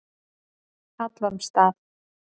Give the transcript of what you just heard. Hallormsstað